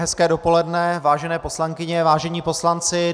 Hezké dopoledne, vážené poslankyně, vážení poslanci.